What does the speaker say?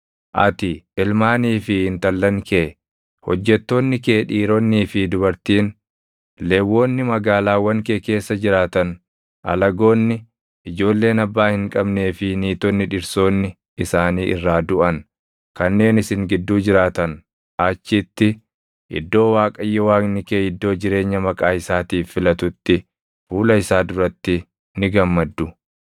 Ati, ilmaanii fi intallan kee, hojjettoonni kee dhiironnii fi dubartiin, Lewwonni magaalaawwan kee keessa jiraatan, alagoonni, ijoolleen abbaa hin qabnee fi niitonni dhirsoonni isaanii irraa duʼan kanneen isin gidduu jiraatan achitti, iddoo Waaqayyo Waaqni kee iddoo jireenya Maqaa isaatiif filatutti fuula isaa duratti ni gammaddu.